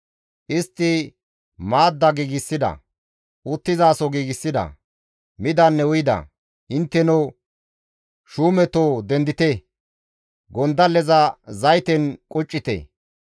Istti maadda giigsida; uttizaso giigsida; midanne uyida. Intteno shuumetoo dendite! gondalleza zayten quccite!